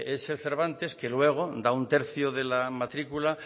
es el cervantes que luego da un tercio de la matrícula